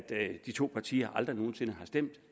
at de to partier aldrig nogen sinde har stemt